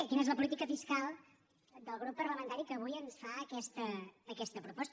quina és la política fiscal del grup parlamentari que avui ens fa aquesta proposta